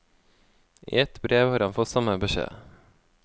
I ett brev har han fått samme beskjed.